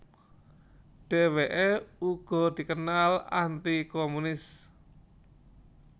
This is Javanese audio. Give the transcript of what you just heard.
Dheweke uga dikenal anti komunis